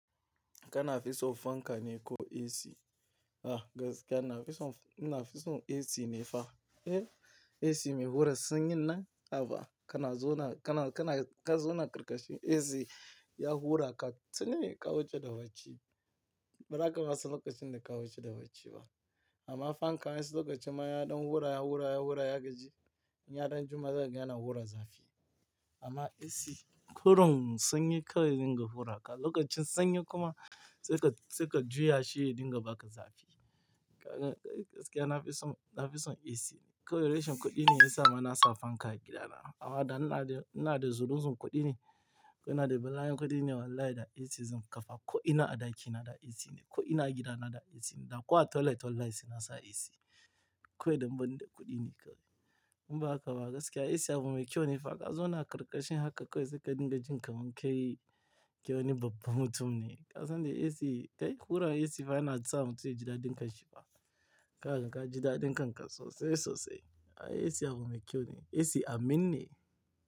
Kana fison fanka ne ko AC? Ah gaskiya na fison, ina fison AC ne fa. Eh, AC mai hura sanyi nan. Haba kana zona, kana, kana, ka zona ƙarƙashi AC ya hura ka tuni ka wuce da bacci. Ba za ka rasa lokacin da ka wuce da bacci ba. Amma fanka wa en su lokacin mayaɗan hura ya hura ya hura ya gaji. In yaɗan juma za ka ga yana hura zafi. Amma AC kurum sanyi kawai dinga hura ka. Lokacin sanyi kuma sai ka, sai ka juya shi dinga baka zafi. Gaskiya na fison, na fison AC ne. Kawai reshen kuɗi ne yasa mana sa fanka a gidana. Awada ina da, ina da zunzurutun kuɗi ne. Ko ina da bala'in kuɗi ne wallahi da AC zan kafa. Ko ina a ɗaki na da AC ne. Ko ina a gida na da AC ne. Da ko toilet wallahi saina sa AC. Kawai dan ban da kuɗi ne kawai. In ba haka ba gaskiya AC abu mai kyau ne fa ka zona ƙirƙashin haka kawai sai ka dinga jin kaman kai, kai wani babba mutum ne. Kasan da AC kai hura AC fa yanasa mutun ya ji dadin kan shi fa. Kagan ka jida dinkan ka sosai sosai. Ai AC abu mai kyau ne. AC amin ne.